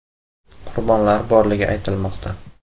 Qurbonlar borligi aytilmoqda .